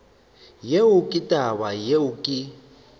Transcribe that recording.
yeo ke taba yeo ke